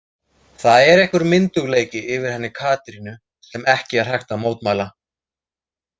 Það er einhver myndugleiki yfir henni Katrínu sem ekki er hægt að mótmæla.